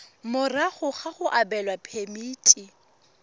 morago ga go abelwa phemiti